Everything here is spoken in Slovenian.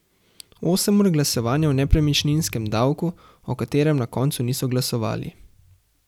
Osem ur glasovanja o nepremičninskem davku, o katerem na koncu niso glasovali?